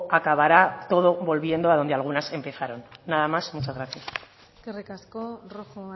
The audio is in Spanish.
acabará todo volviendo a donde algunas empezaron nada más muchas gracias eskerrik asko rojo